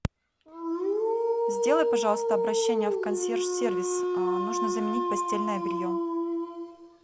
сделай пожалуйста обращение в консьерж сервис нужно заменить постельное белье